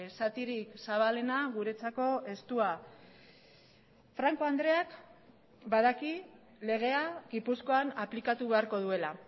zatirik zabalena guretzako estua franco andreak badaki legea gipuzkoan aplikatu beharko duela